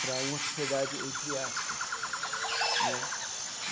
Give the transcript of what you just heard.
para uma sociedade entre aspas né.